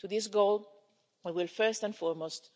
To this goal, we will first and foremost